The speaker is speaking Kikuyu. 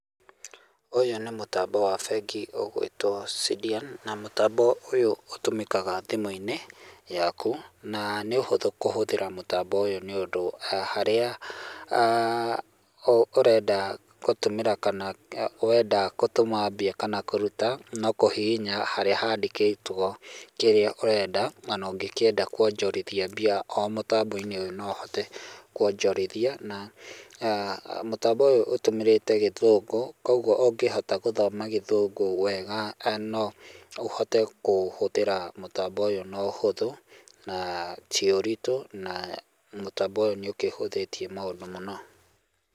Ũyũ nĩ mũtambo wa bengi ũgwĩtwo SIDIAN na mũtambo ũyũ ũtũmĩkaga thimũ-inĩ yaku na nĩ ũhũthũ kũhũthĩra mũtambo ũyũ nĩ ũndũ harĩa ah ũrenda gũtũmĩra kana wenda gũtũma mbia kana kũruta no kũhihinya harĩa handĩkĩtwo kĩrĩa ũrenda ona ũngĩkĩenda kwonjorithia mbia o mũtambo-inĩ ũyũ no ũhote kwonjorithia na ah mũtambo ũyũ ũtũmĩrĩte gĩthũngũ kwoguo ũngĩhota gũthoma gĩthũngũ wega no ũhote kũhũthĩra mũtambo ũyũ na ũhothũ naa tĩũritũ na mũtambo ũyũ nĩ ũkĩhũthĩtie maũndũ mũno.